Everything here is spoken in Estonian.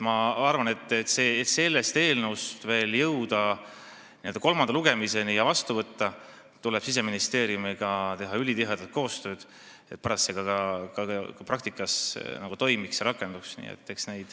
Ma arvan, et selleks, et jõuda selle eelnõuga kolmandale lugemisele ja seadus vastu võtta, tuleb Siseministeeriumiga teha ülitihedat koostööd, et seadus pärast ka praktikas toimiks ja rakenduks.